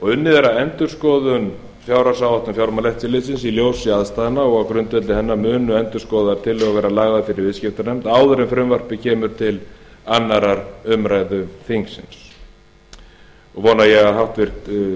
unnið er að endurskoðaðri fjárhagsáætlun fjármálaeftirlitsins í ljósi aðstæðna og á grundvelli hennar munu endurskoðaðar tillögur verða lagðar fyrir viðskiptanefnd áður en frumvarpið kemur til annarrar umræðu þingsins og vona ég að háttvirtur